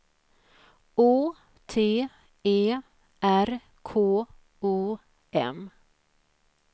Å T E R K O M